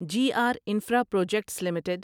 G R infra projects limited